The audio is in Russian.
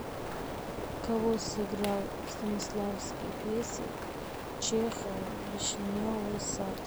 кого сыграл станиславский в пьесе чехова вишневый сад